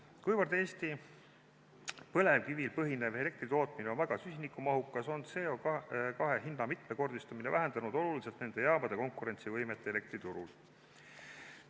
Kuivõrd Eesti põlevkivil põhinev elektritootmine on väga süsinikumahukas, on CO2 hinna mitmekordistumine vähendanud oluliselt nende jaamade konkurentsivõimet elektriturul.